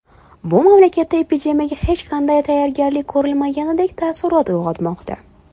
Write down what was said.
Bu mamlakatda epidemiyaga hech qanday tayyorgarlik ko‘rilmagandek taassurot uyg‘onmoqda.